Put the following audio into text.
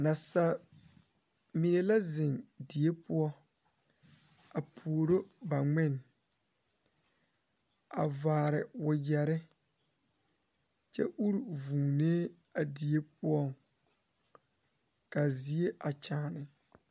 Nasaamine la zeŋ die poɔ a pouri ba ŋmene a vaare wagyere kyɛ uri vūūnee a die poɔ kaa zie a kyaane.